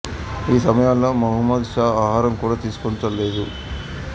ఈ సమయంలో ముహమ్మద్ షా ఆహారం కూడా స్వీకరించ లేదు